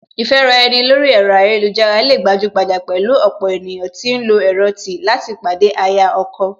Ìfẹ́ra ẹni lórí ẹ̀rọ ayélujára lè gbajúgbajà pẹ̀lú ọ̀pọ̀ ènìyàn tí ń lọ ẹ̀rọ tí láti pàdé aya/ ọkọ